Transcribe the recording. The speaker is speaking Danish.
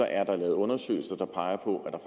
er der lavet undersøgelser der peger på at der